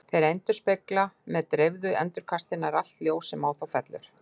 Þeir endurspegla með dreifðu endurkasti nær allt ljós sem á þá fellur.